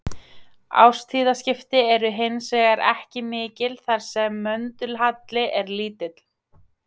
Árstíðaskipti eru hins vegar ekki mikil þar sem möndulhalli er lítill.